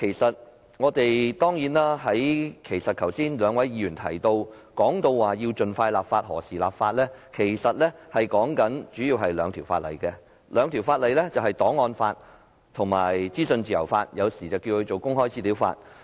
剛才兩位議員皆提到需要盡快立法及何時立法的問題，他們主要提述了兩項法例，即檔案法和資訊自由法，而後者通常稱為公開資料法。